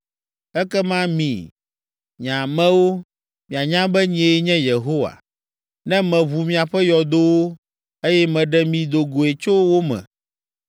Ekema mi, nye amewo, mianya be nyee nye Yehowa, ne meʋu miaƒe yɔdowo, eye meɖe mi do goe tso wo me.